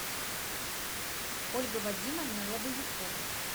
ольга вадимовна лобовикова